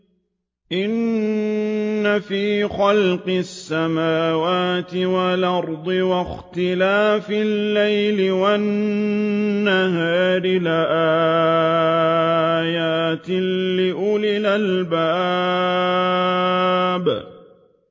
إِنَّ فِي خَلْقِ السَّمَاوَاتِ وَالْأَرْضِ وَاخْتِلَافِ اللَّيْلِ وَالنَّهَارِ لَآيَاتٍ لِّأُولِي الْأَلْبَابِ